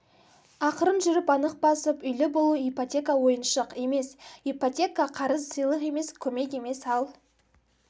ақырын жүріп анық басып үйлі болу ипотека ойыншық емесипотека қарыз сыйлық емес көмек емес ал